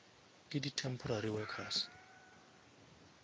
ke di temporary workers